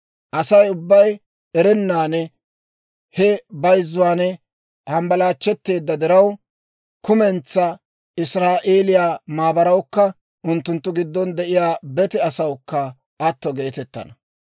Asay ubbay erennan he bayzzuwaan hambbalaachchetteedda diraw, kumentsaa Israa'eeliyaa maabarawukka unttunttu giddon de'iyaa bete asawukka atto geetettana.